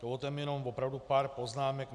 Dovolte mi jenom opravdu pár poznámek.